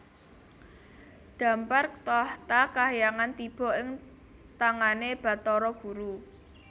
Dhampar tahta kahyangan tiba ing tangane Bathara Guru